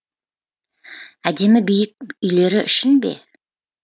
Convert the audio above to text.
әдемі биік үйлері үшін бе